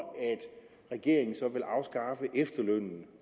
regeringen nu vil afskaffe efterlønnen